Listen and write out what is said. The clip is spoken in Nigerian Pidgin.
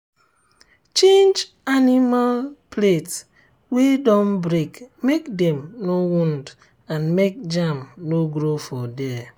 change animal plate wey don break make dem no wound and make germ no grow for there.